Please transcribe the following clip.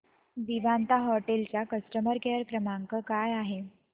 Vivanta hotel चा customer care क्रमांक काय आहे